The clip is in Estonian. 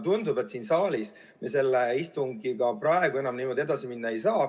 Tundub, et siin saalis me selle istungiga praegu enam niimoodi edasi minna ei saa.